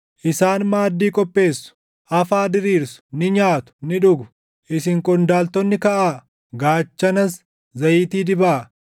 Isaan maaddii qopheessu; afaa diriirsu; ni nyaatu, ni dhugu! Isin qondaaltonni kaʼaa; gaachanas zayitii dibaa.